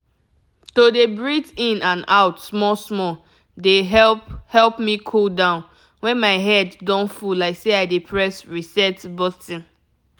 to dey breathe in and out small-small dey help help me cool down when my head don full like say i dey press reset button.